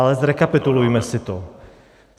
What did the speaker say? Ale zrekapitulujme si to.